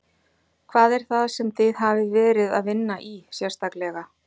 Hvað er það sem þið hafið verið að vinna í sérstaklega?